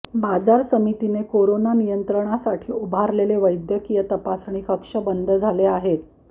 बाजार समितीने कोरोना नियंत्रणासाठी उभारलेले वैद्यकीय तपासणी कक्ष बंद झाले आहेत